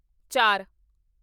ਚਾਰ